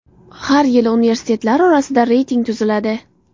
Har yili universitetlar orasida reyting tuziladi.